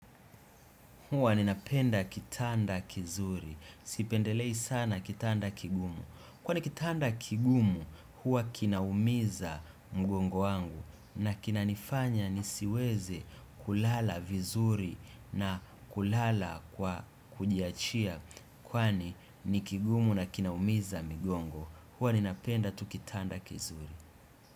Huwa ninapenda kitanda kizuri. Sipendelei sana kitanda kigumu. Kwani kitanda kigumu huwa kinaumiza mgongo wangu. Na kinanifanya nisiweze kulala vizuri na kulala kwa kujiachia. Kwani ni kigumu na kinaumiza mgongo. Huwa ninapenda tu kitanda kizuri.